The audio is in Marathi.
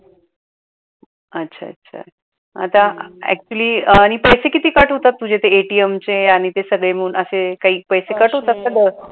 अच्छा अच्छा आता actually आणि पैसे किती cut होतात तुझे ते ATM चे आणि ते सगळे मिळून असे काही पैसे cut होतात का